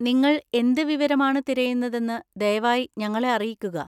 നിങ്ങൾ എന്ത് വിവരമാണ് തിരയുന്നതെന്ന് ദയവായി ഞങ്ങളെ അറിയിക്കുക.